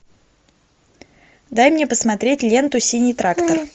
дай мне посмотреть ленту синий трактор